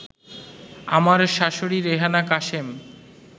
আমার শাশুড়ি রেহেনা কাশেম